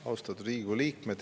Austatud Riigikogu liikmed!